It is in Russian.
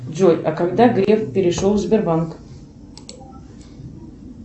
джой а когда греф перешел в сбербанк